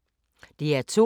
DR2